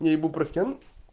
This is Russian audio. не ибупрофен